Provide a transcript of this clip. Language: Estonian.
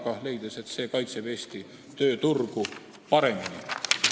Ta leidis, et see kaitseb Eesti tööturgu paremini.